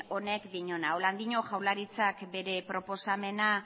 honek diona horrela dio jaurlaritzak bere proposamena